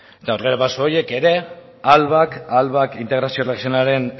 eta aurrerapauso horiek ere integrazio